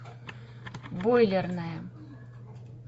бойлерная